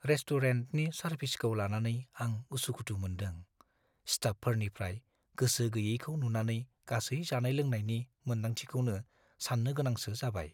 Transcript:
रेस्टुरेन्टनि सारभिसखौ लानानै आं उसुखुथु मोनदों; स्टाफफोरनिफ्राय गोसो गैयैखौ नुनानै गासै जानाय-लोंनायनि मोन्दांथिखौनो सान्नो गोनांसो जाबाय।